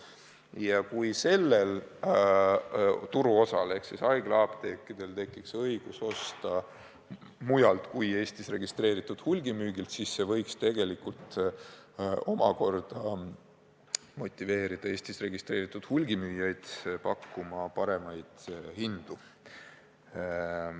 Ja kui sellel turuosal ehk haiglaapteekidel tekiks õigus osta mujalt kui Eestis registreeritud hulgimüüjatelt, siis see võiks motiveerida Eestis registreeritud hulgimüüjaid pakkuma paremaid hindu.